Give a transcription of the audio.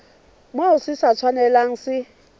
moo se sa tshwanelang se